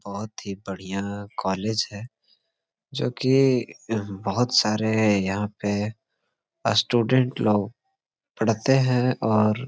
बहुत ही बढ़िया कॉलेज है जो की यहाँ बहुत सारे यहाँ पे अस्टूडेंट लोग पढ़ते है और--